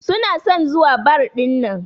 Suna son zuwa bar dinnan.